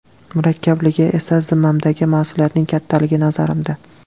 Murakkabligi esa zimmamdagi mas’uliyatning kattaligi, nazarimda.